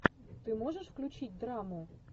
ты можешь включить драму